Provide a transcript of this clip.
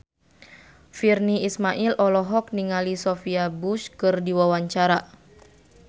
Virnie Ismail olohok ningali Sophia Bush keur diwawancara